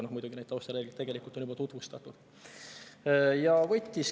Aga muidugi neid taustareegleid tegelikult on juba tutvustatud.